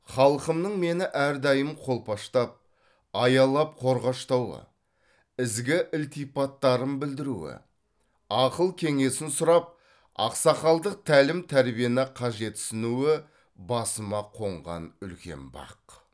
халқымның мені әрдайым қолпаштап аялап қорғаштауы ізгі ілтипаттарын білдіруі ақыл кеңесін сұрап ақсақалдық тәлім тәрбиені қажетсінуі басыма қонған үлкен бақ